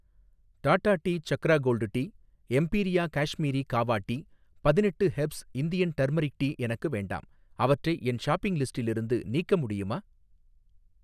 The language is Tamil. Tata tea Chakra gold tea, Imperia Kashmiri kahwa tea, பதிணெட்டு ஹெர்ப்ஸ் இந்தியன் டர்மெரிக் டீ எனக்கு வேண்டாம், அவற்றை என் ஷாப்பிங் லிஸ்டிலிருந்து நீக்க முடியுமா?